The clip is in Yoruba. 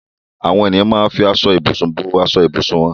Àwọn ènìyàn máa ń fi aṣọ-ìbùsùn bo ìbùsùn wọn.